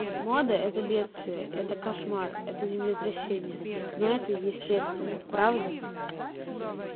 мода это бедствие это кошмар это землетрясение но это естественно правда